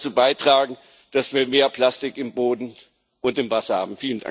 Das wird dazu beitragen, dass wir mehr Plastik im Boden und im Wasser haben.